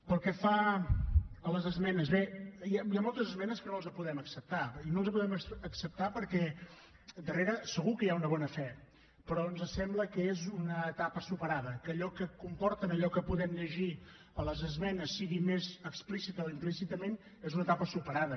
pel que fa a les esmenes bé hi ha moltes esmenes que no els les podem acceptar i no els les podem acceptar perquè darrere segur que hi ha una bona fe però ens sembla que és una etapa superada que allò que comporten allò que podem llegir a les esmenes sigui més explícitament o implícitament és una etapa superada